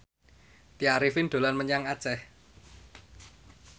Tya Arifin dolan menyang Aceh